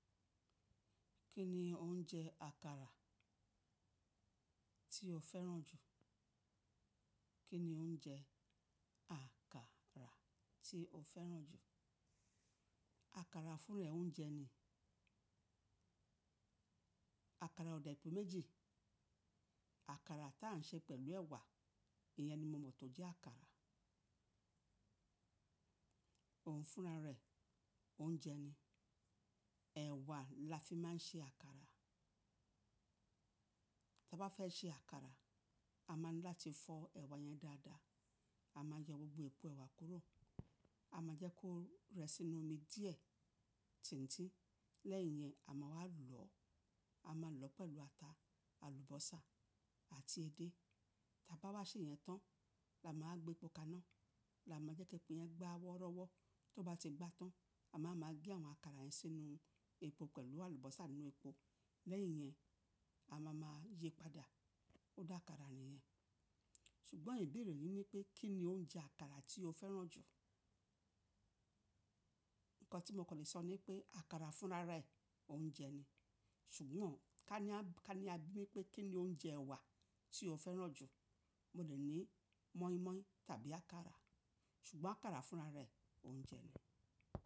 Kí ni oúnjẹ àkàrà tí o fẹ́ràn jù? Kí ni oúnjẹ àkàrà tí o fẹ́ràn jù? Àkàrà fúnra rẹ̀ oúnjẹ ni. Àkàrà ò dẹ̀ pé méjì. Àkàrà t’à ń ṣe pẹ̀lú ẹ̀wà, ìyẹn ni mo mọ̀ tó jẹ́ àkàrà. Òun fúnra ra ẹ̀ oúnjẹ ni. Ẹ̀wà la fi máa ń ṣe àkàrà. T’a bá fẹ́ ṣe àkàrà, a máa ń láti fọ ẹ̀wà yẹn dáadáa, a máa yẹ gbogbo èpò ẹ̀wà kúrò. A máa jẹ́ kó rẹ́ sínú omi díẹ̀, tìńtí. Lẹ́yìn yẹn, a máa wá lọ̀ ọ́. A máa lọ̀ ọ́ pẹ̀lú ata, àlùbọ́sà àti edé. T’a bá wá ṣe ìyẹn tán, la máa á gbé’po kaná. La máa jẹ́ k’épo yẹn gbá wọ́rọ́wọ́. T’ó bá ti gbá tán, a maá ma gé àwọn àkàrà yẹn sínú epo pẹ̀lú àlùbọ́sà nínú epo. Lẹ́yìn yẹn, a ma ma yíi padà. Ó d’àkàrà n’ìyẹn. Ṣùgbọ́n ìbéèrè yí ni pé kí ni oúnjẹ àkàrà tí o fẹ́ràn jù? Ǹkan tí mo kàn le sọ ni pé àkàrà fúnra ra ẹ̀, oúnjẹ ni. Ṣùgbọ́n ká ní a, ká ní a bi mí pé kí ni oúnjẹ ẹ̀wà tí o fẹ́ràn jù? Mo lè ní moi moi tàbí àkàrà. Ṣùgbọ́n àkàrà fúnra rẹ̀ oúnjẹ ni.